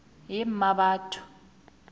yemmabatho